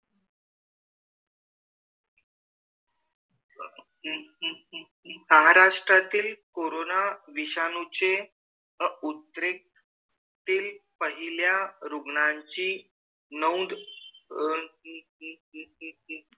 अह महाराष्ट्रातील कोरोना विषाणूचे अं उत्तरे तील पहिल्या रुग्णांची नोंद अं